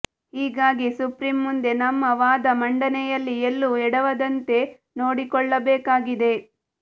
ಹೀಗಾಗಿ ಸುಪ್ರೀಂ ಮುಂದೆ ನಮ್ಮ ವಾದ ಮಂಡನೆಯಲ್ಲಿ ಎಲ್ಲೂ ಎಡವದಂತೆ ನೊಡಿಕೊಳ್ಳಬೇಕಾಗಿದೆ